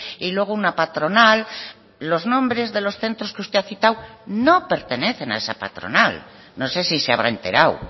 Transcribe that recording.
y luego una patronal los nombres de los centros que usted ha citado no pertenecen a esa patronal no sé si se habrá enterado